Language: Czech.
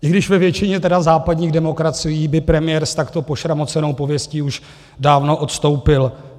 I když ve většině tedy západních demokracií by premiér s takto pošramocenou pověstí už dávno odstoupil.